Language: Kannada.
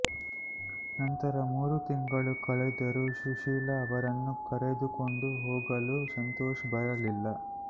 ನಂತರ ಮೂರು ತಿಂಗಳು ಕಳೆದರೂ ಸುಶೀಲಾ ಅವರನ್ನು ಕರೆದುಕೊಂಡು ಹೋಗಲು ಸಂತೋಷ್ ಬರಲಿಲ್ಲ